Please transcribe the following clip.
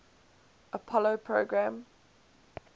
apollo program